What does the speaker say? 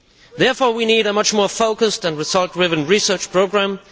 Therefore we need a much more focused and result driven research programme.